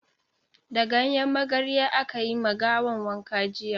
Da ganyen magarya aka yi ma gawan wanka jiya.